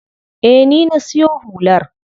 Eh, ni na siyo hular.